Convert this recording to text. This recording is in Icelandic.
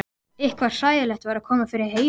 Eitthvað hræðilegt var að koma fyrir Heiðu.